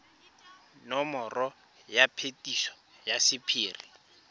nomoro ya phetiso ya sephiri